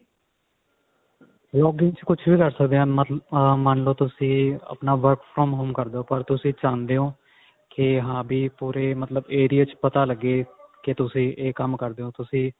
vlog ਵਿੱਚ ਕੁਛ ਵੀ ਕਰ ਸਕਦੇ ਹਾਂ ਮੰਨਲੋ ਤੁਸੀਂ ਆਪਣਾ work from home ਕਰਦੇ ਹੋ ਪਰ ਤੁਸੀਂ ਚਾਹੁੰਦੇ ਹੋ ਕੀ ਹਾਂ ਵੀ ਪੂਰੇ ਮਤਲਬ area ਚ ਪਤਾ ਲੱਗੇ ਕੀ ਤੁਸੀਂ ਇਹ ਕੰਮ ਕਰਦੇ ਹੋ ਵੀ ਤੁਸੀਂ